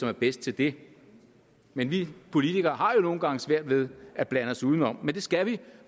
er bedst til det men vi politikere har jo nogle gange svært ved at blande os udenom men det skal vi